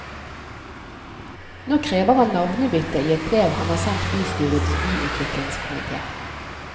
Nå krever han navnebytte i et brev han har sendt bystyrets byutviklingskomité.